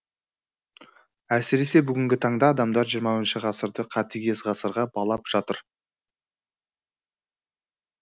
әсіресе бүгінгі таңда адамдар жиырма бірінші ғасырды қатігез ғасырға балап жатыр